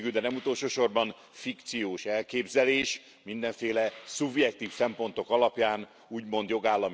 Végül, de nem utolsó sorban fikciós elképzelés mindenféle szubjektív szempontok alapján úgymond jogállami fel...